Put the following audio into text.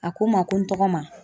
A ko n ma ko n tɔgɔma